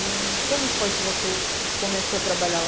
E como foi que você começou a trabalhar lá?